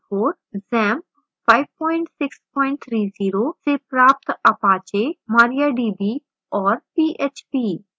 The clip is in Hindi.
xampp 5630 से प्राप्त apache mariadb और php